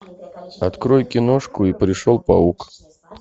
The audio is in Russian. открой киношку и пришел паук